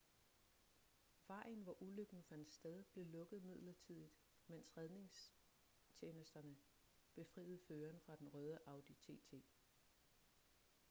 vejen hvor ulykken fandt sted blev lukket midlertidigt mens redningstjenesterne befriede føreren fra den røde audi tt